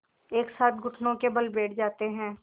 एक साथ घुटनों के बल बैठ जाते हैं